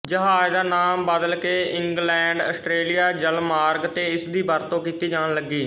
ਜਹਾਜ਼ ਦਾ ਨਾਮ ਬਦਲ ਕੇ ਇੰਗਲੈਂਡਆਸਟਰੇਲੀਆ ਜਲਮਾਰਗ ਤੇ ਇਸ ਦੀ ਵਰਤੋਂ ਕੀਤੀ ਜਾਣ ਲੱਗੀ